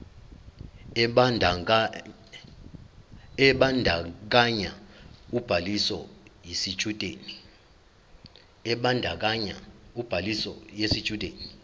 ebandakanya ubhaliso yesitshudeni